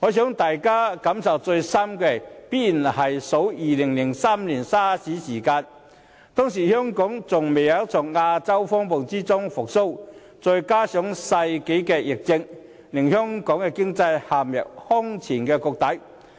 我想大家感受最深的，必然是在2003年 SARS 期間，當時香港仍未從亞洲金融風暴中復蘇，再加上世紀疫症，經濟陷入空前低谷。